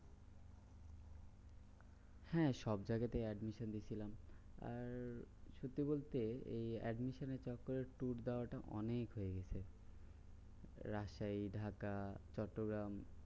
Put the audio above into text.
হ্যাঁ সবজায়গা তেই admission দিয়েছিলা। আর সত্যি বলতে এই admission এর চক্করে tour যাওয়া তা অনেক হয়ে গেছে। রাজশাহী, ঢাকা, চট্টগ্রাম